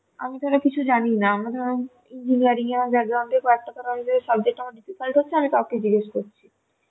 আমি ধরো কিছু জানিনা আমি তো engineering কযেক টা ধরো আমি যদি subject ধরো difficult হচ্ছে আমি জিগেষ করছি